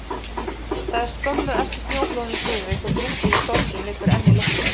Það er skömmu eftir snjóflóðin í Súðavík, og drungaleg sorgin liggur enn í loftinu.